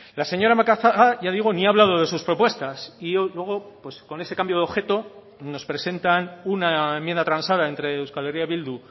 la señora macazaga ya digo ni ha hablado de sus propuestas y luego con ese cambio de objeto nos presentan una enmienda transada entre euskal herria bildu